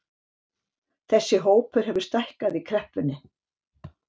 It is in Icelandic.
Þessi hópur hefur stækkað í kreppunni